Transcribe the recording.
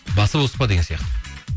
басы бос па деген сияқты